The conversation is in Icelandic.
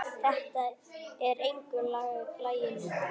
Þetta er engu lagi líkt.